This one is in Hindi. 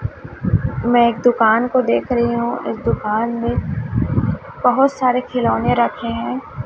मैं एक दुकान को देख रही हूं इस दुकान में बहोत सारे खिलौने रखे हैं।